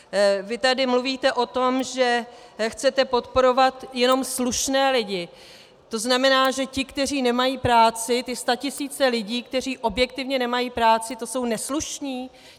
Vy tady mluvíte o tom, že chcete podporovat jenom slušné lidi, to znamená, že ti, kteří nemají práci, ty statisíce lidí, kteří objektivně nemají práci, to jsou neslušní?